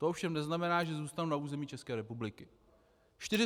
To ovšem neznamená, že zůstanou na území České republiky.